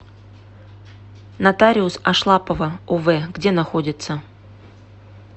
нотариус ашлапова ов где находится